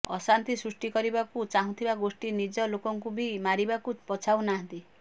ଅଶାନ୍ତି ସୃଷ୍ଟି କରିବାକୁ ଚାହୁଁଥିବା ଗୋଷ୍ଠୀ ନିଜ ଲୋକଙ୍କୁ ବି ମାରିବାକୁ ପଛାଉନାହାନ୍ତି